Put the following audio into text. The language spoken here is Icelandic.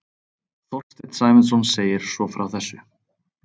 Þorsteinn Sæmundsson segir svo frá þessu: